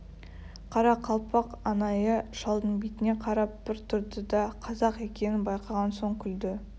қарақалпақ анайы шалдың бетіне қарап бір тұрды да қазақ екенін байқаған соң күлді